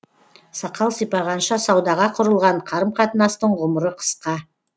сақал сипағанша саудаға құрылған қарым қатынастың ғұмыры қысқа